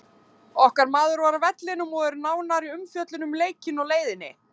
Okkar maður var á vellinum og er nánari umfjöllun um leikinn á leiðinni.